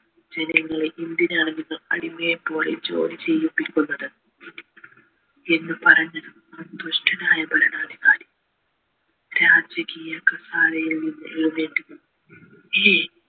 ജനങ്ങളെ എന്തിനാണ് നിങ്ങൾ അടിമയെ പോലെ ജോലി ചെയ്യിപ്പിക്കുന്നത് എന്ന പറഞ്ഞതും ആ ദുഷ്ടനായ ഭരണാധികാരി രാജകീയമായ കസേരയിൽ നിന്ന് എഴുന്നേറ്റ് ഏയ്